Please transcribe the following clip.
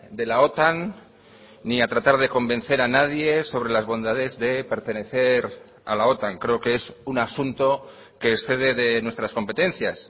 de la otan ni a tratar de convencer a nadie sobre las bondades de pertenecer a la otan creo que es un asunto que excede de nuestras competencias